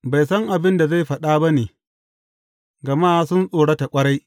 Bai san abin da zai faɗa ba ne, gama sun tsorata ƙwarai.